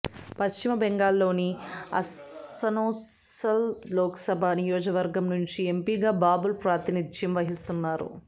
పశ్చిమ బెంగాల్లోని అసన్సోల్ లోక్సభ నియోజకవర్గం నుంచి ఎంపిగా బాబుల్ ప్రాతినిధ్యం వహిస్తున్నారు